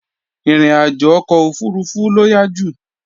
Ìrìnàjò ọkọ̀ òfurufú ló yá jù